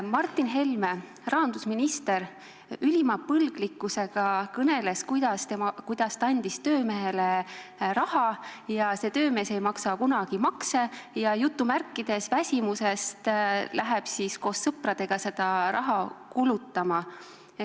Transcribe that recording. Martin Helme, rahandusminister, kõneles ülima põlglikkusega, kuidas ta andis töömehele raha, see töömees ei maksa kunagi makse ja "väsimusest" läheb siis koos sõpradega seda raha kulutama.